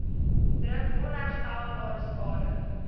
druk onherstelbare skade